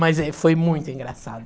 Mas aí, foi muito engraçado.